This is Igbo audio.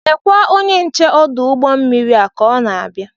Lekwa onye nche ọdụ ụgbọ mmiri a ka ọ na-abịa.